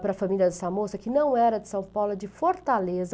para a família dessa moça, que não era de São Paulo, é de Fortaleza.